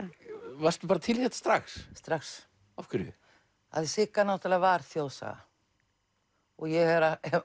varstu bara til í þetta strax strax af hverju af því Sigga náttúrulega var þjóðsaga ég hef